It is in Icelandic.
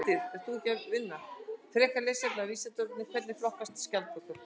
Frekara lesefni á Vísindavefnum: Hvernig flokkast skjaldbökur?